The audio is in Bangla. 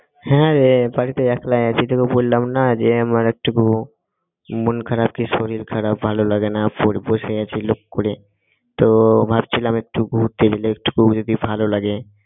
হ্যাঁরে বাড়িতে একলাই আছি তোকে বললাম না যে আমার একটুকু মন খারাপ কি শরীর খারাপ ভালো লাগেনা বসে আছি বসে আছি লোক কুড়ে তো ভাবছিলাম একটু ঘুরতে গেলে একটুকু যদি ভালো লাগে।